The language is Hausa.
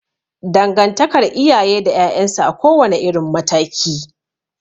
Dangantakar iyaye da 'ya'yan su a kowa ne irin mataki